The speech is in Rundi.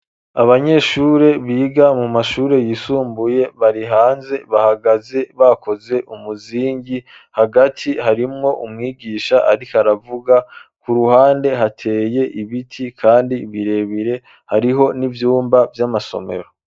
Abanyeshure biga mu mashure yisumbuye bari hanze bahagaze bakoze umuzingi hagati harimwo umwigisha ariko aravuga ku ruhande hateye ibiti kandi birebire hariho n'ivyumba vy'amasomero.